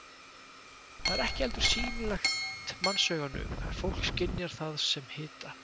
Það er ekki heldur sýnilegt mannsauganu en fólk skynjar það sem hita.